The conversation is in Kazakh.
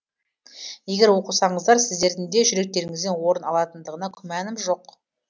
егер оқысаңыздар сіздердің де жүректеріңізден орын алатындығына күмәнім жоқ